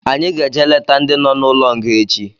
Anyị ga-eje leta ndị nọ n'ụlọ nga echi